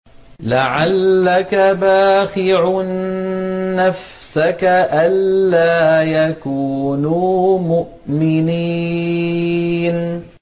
لَعَلَّكَ بَاخِعٌ نَّفْسَكَ أَلَّا يَكُونُوا مُؤْمِنِينَ